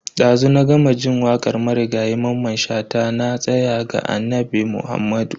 Dazu na gama jin wakar marigayi Mamman Shata "Na tsaya ga Annabi Muhammadu".